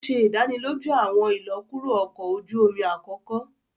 O ṣe idaniloju awọn ilọkuro ọkọ oju omi akoko